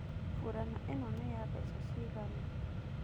Burana ĩno nĩ ya mbeca ciigana?